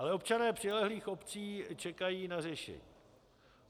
Ale občané přilehlých obcí čekají na řešení.